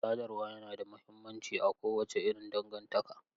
Sadarwa yana da mahimmanci a kowace irin dangantaka.